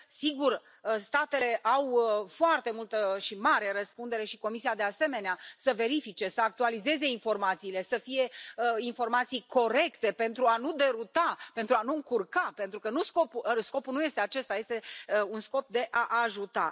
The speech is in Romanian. Sigur, statele au foarte multă și mare răspundere, și Comisia de asemenea, să verifice, să actualizeze informațiile, să fie informații corecte pentru a nu deruta, pentru a nu încurca, pentru că scopul nu este acesta. Scopul este de a ajuta.